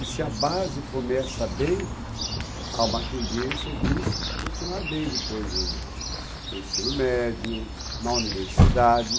E se a base começa bem, há uma tendência de continuar bem depois no no ensino médio, na universidade.